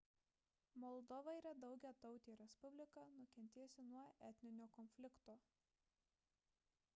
moldova yra daugiatautė respublika nukentėjusi nuo etninio konflikto